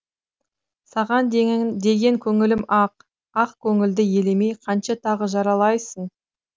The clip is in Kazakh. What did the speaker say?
саған деген көңілім ақ ақ көңілді елемей қанша тағы жаралайсың